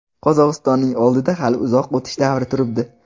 Qozog‘istonning oldida hali uzoq o‘tish davri turibdi.